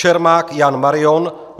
Čermák Jan Marion